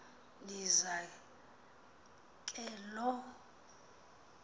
ndisa ke loo